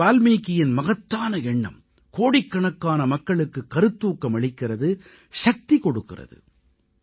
மஹரிஷி வால்மீகியின் மகத்தான எண்ணம் கோடிக்கணக்கான மக்களுக்குக் கருத்தூக்கம் அளிக்கிறது சக்தி கொடுக்கிறது